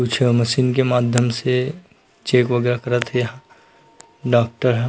कुछ अ मशीन के माध्यम से चेक वगैराह करा थे यहाँ डॉक्टर ह--